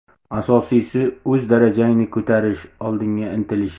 Asosiysi o‘z darajangni ko‘tarish, oldinga intilish.